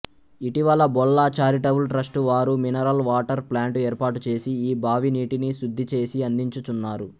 ఇటీవల Bolla charitable trust వారు mineral water plant ఏర్పాటుచేసి ఈ బావినీటిని శుద్ధిచేసి అందించుచున్నారు